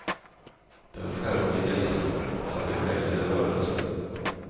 Den skärpte idealismen, satte själen i rörelse.